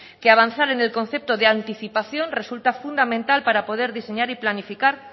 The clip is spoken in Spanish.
que avanzar en el concepto de anticipación resulta fundamental para poder diseñar y planificar